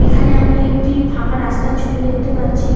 এখানে আমি একটি ফাঁকা রাস্তার ছবি দেখতে পাচ্ছি ।